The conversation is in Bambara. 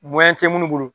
tɛ minnu bolo